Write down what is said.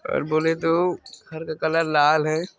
बोले तो घर का कलर लाल है।